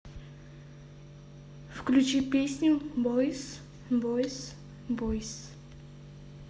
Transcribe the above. включи песню бойс бойс бойс